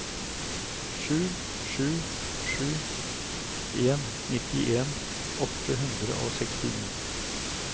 sju sju sju en nittien åtte hundre og sekstini